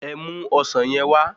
Ẹ mu ọsán yen wá